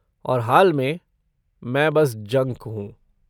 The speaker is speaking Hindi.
और हाल में, मैं बस जंक हूँ!